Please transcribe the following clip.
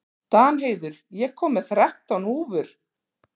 Danheiður, ég kom með þrettán húfur!